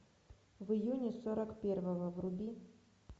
в июне сорок первого вруби